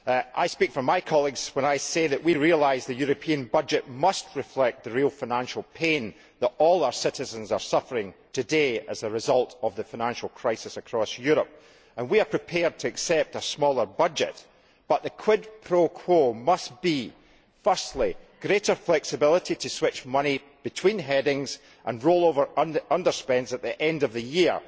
I speak for my colleagues when I say that we realise the European budget must reflect the real financial pain that all our citizens are suffering today as a result of the financial crisis across Europe. We are prepared to accept a smaller budget, but the quid pro quo must be, firstly, greater flexibility to switch money between headings and roll over underspends at the end of the year.